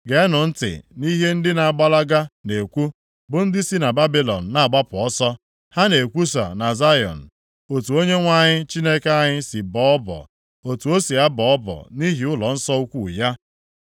Geenụ ntị nʼihe ndị na-agbalaga na-ekwu, bụ ndị si na Babilọn na-agbapụ ọsọ. Ha na-ekwusa na Zayọn otu Onyenwe anyị Chineke anyị si bọọ ọbọ, otu o si abọ ọbọ nʼihi ụlọnsọ ukwu ya.